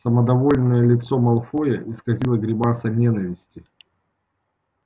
самодовольное лицо малфоя исказила гримаса ненависти